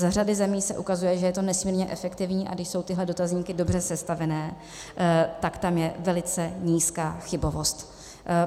Z řady zemí se ukazuje, že je to nesmírně efektivní, a když jsou tyhle dotazníky dobře sestavené, tak tam je velice nízká chybovost.